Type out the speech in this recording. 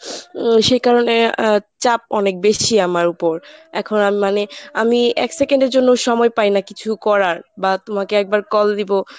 উম সে কারণে আ চাপ অনেক বেশি আমার উপর, এখন আমি মানে আমি এক second এর জন্যও সময় পাই না কিছু করার বা তোমাকে একবার call দিব।